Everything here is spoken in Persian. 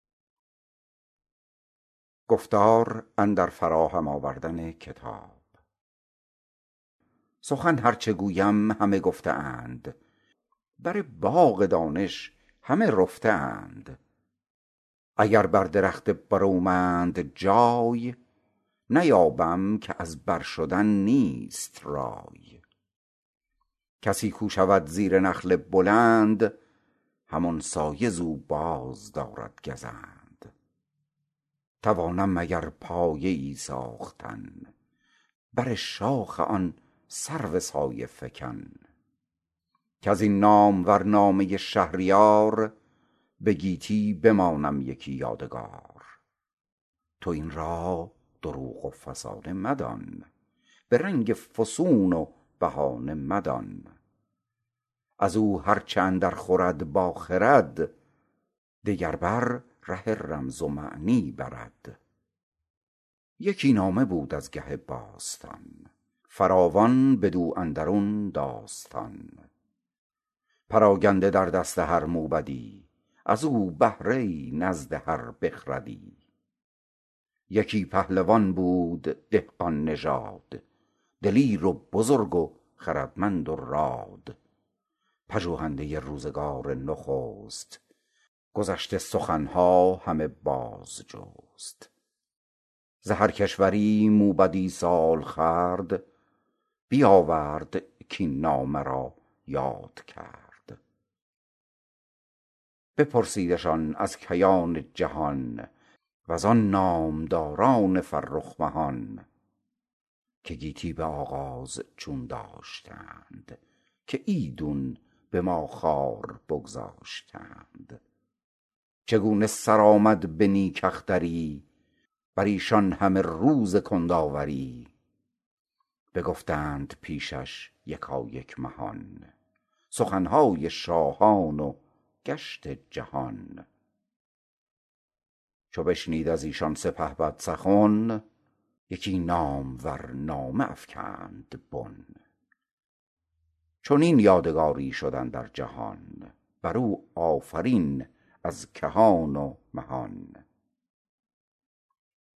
سخن هر چه گویم همه گفته اند بر باغ دانش همه رفته اند اگر بر درخت برومند جای نیابم که از بر شدن نیست رای کسی کو شود زیر نخل بلند همان سایه ز او بازدارد گزند توانم مگر پایه ای ساختن بر شاخ آن سرو سایه فکن کز این نامور نامه شهریار به گیتی بمانم یکی یادگار تو این را دروغ و فسانه مدان به رنگ فسون و بهانه مدان از او هر چه اندر خورد با خرد دگر بر ره رمز و معنی برد یکی نامه بود از گه باستان فراوان بدو اندرون داستان پراگنده در دست هر موبدی از او بهره ای نزد هر بخردی یکی پهلوان بود دهقان نژاد دلیر و بزرگ و خردمند و راد پژوهنده روزگار نخست گذشته سخن ها همه باز جست ز هر کشوری موبدی سال خورد بیاورد کاین نامه را یاد کرد بپرسیدشان از کیان جهان وزان نامداران فرخ مهان که گیتی به آغاز چون داشتند که ایدون به ما خوار بگذاشتند چگونه سر آمد به نیک اختری بر ایشان همه روز کندآوری بگفتند پیشش یکایک مهان سخن های شاهان و گشت جهان چو بشنید از ایشان سپهبد سخن یکی نامور نامه افکند بن چنین یادگاری شد اندر جهان بر او آفرین از کهان و مهان